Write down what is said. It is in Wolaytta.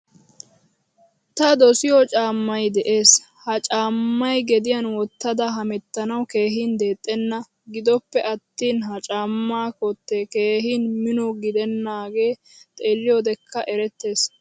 Ta dosiyo caamay de'ees. Ha caamay gediyan wottada hemettanawu keehin deexena. Giddoppe attin ha caama kotte keehin mino giddenage xeeliyodekka erettees.